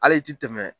Hali i ti tɛmɛ